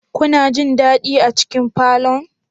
Kuna jin dadi a cikin falon?